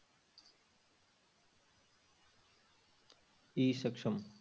E Saksham